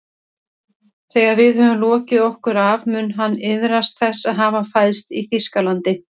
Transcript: Þegar við höfum lokið okkur af mun hann iðrast þess að hafa fæðst í Þýskalandi